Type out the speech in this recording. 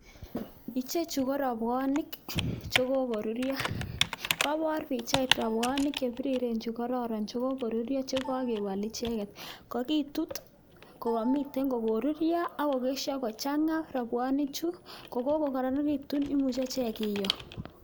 Ichechu ko robwonik chekokoruryo, kobor pichait robwonik chebiriren chekororon chokoruryo chekokebol icheket, kokitut ko komiten ko koruryo ak kesho kochang'a robwonichu ko kokokoronekitu imuche ichek kiyoo.